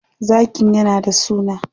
Zakin yana da suna?